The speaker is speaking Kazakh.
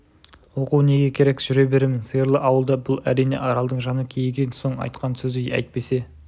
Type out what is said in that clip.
оқу неге керек жүре беремін сиырлы ауылда бұл әрине аралдың жаны кейіген соң айтқан сөзі әйтпесе